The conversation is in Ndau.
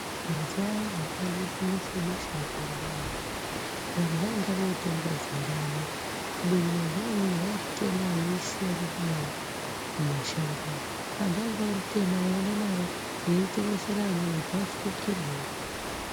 Mazuwa ayani akanesa besha mupengo ayani vanhu vainga votenga zumbani kubeni mazuwa amweni vairitema veirisiya ririmo mumashango umwo, antu ainga oritema einda naro eitengesera amweni kuti afukirewo.